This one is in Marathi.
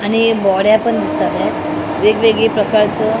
आणि बॉड्या पण दिसतं त्यात वेगवेगळी प्रकारचं --